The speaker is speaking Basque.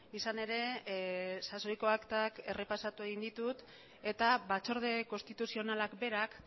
izan ere sasoiko aktak errepasatu egin ditut eta batzorde konstituzionalak berak